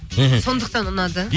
мхм сондықтан ұнады